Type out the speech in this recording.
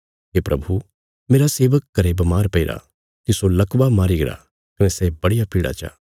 हे प्रभु मेरा सेवक घरें बमार पैईरा तिस्सो लकवा मारी गरा कने सै बड़िया पीड़ा चा